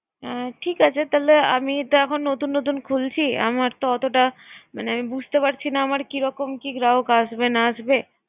এ ঠিক আছে তোমরা আমি তো এখন নতুন নতুন খুলছি। আমার তো এতটা মানে বুঝতে পারছিনা। আমার কিরকম বা গ্রাহক আসবে না আসবে